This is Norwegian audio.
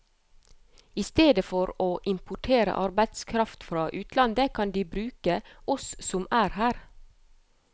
I stedet for å importere arbeidskraft fra utlandet, kan de bruke oss som er her.